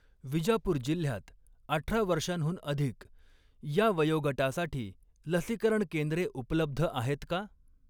विजापूर जिल्ह्यात अठरा वर्षांहून अधिक ह्या वयोगटासाठी लसीकरण केंद्रे उपलब्ध आहेत का?